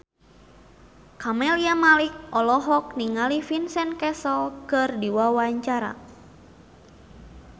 Camelia Malik olohok ningali Vincent Cassel keur diwawancara